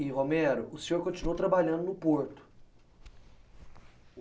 E Romero, o senhor continuou trabalhando no Porto.